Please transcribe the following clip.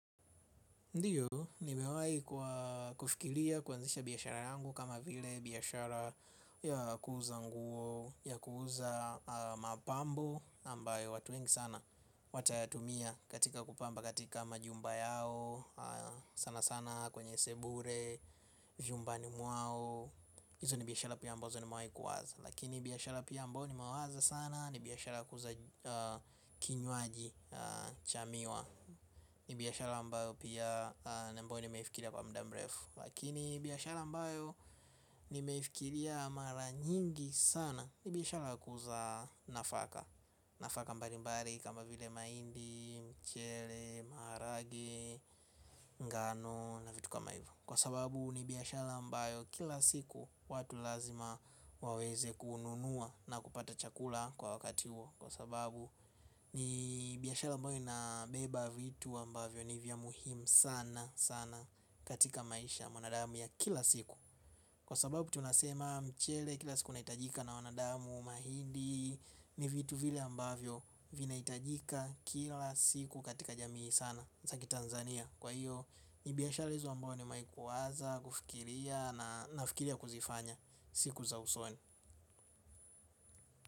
Ndiyo, nimewahi kufikilia, kuanzisha biashara yangu kama vile biashara ya kuuza nguo, ya kuuza mapambo ambayo watu wengi sana, watayatumia katika kupamba katika majumba yao, sana sana kwenye sebure, vyumbani mwao, hizo ni biashara pia ambazo nimewahi kuwaza. Lakini biashara pia ambayo ni mewaza sana, ni biashara kuuza kinywaji cha miwa. Ni biashara ambayo pia ambayo ni meifikilia kwa mda mrefu. Lakini biashara ambayo ni meifikilia mara nyingi sana ni biashara kuza nafaka. Nafaka mbali mbali kama vile mahindi, mchele, maharagwe, ngano na vitu kama hivo. Kwa sababu ni biashara ambayo kila siku watu lazima waweze kununua na kupata chakula kwa wakati huo. Kwa sababu ni biashara ambayo inabeba vitu ambavyo ni vya muhimu sana sana katika maisha ya mwanadamu ya kila siku. Kwa sababu tunasema mchele kila siku unaitajika na wanadamu mahindi ni vitu vile ambavyo vina itajika kila siku katika jamii sana Zaki Tanzania kwa hiyo. Nibiashara hizo ambao nimewahi kuwaza. Kufikilia na nafikilia kuzifanya. Siku za usoni.